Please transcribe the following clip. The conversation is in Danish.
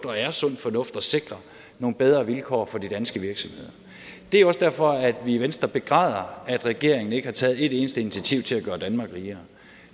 er sund fornuft at sikre nogle bedre vilkår for de danske virksomheder det er også derfor at vi i venstre begræder at regeringen ikke har taget et eneste initiativ til at gøre danmark rigere